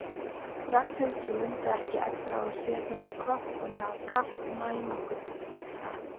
Ragnhildur mundi ekki eftir að hafa séð þennan kött á meðal kattanna í nágrenninu.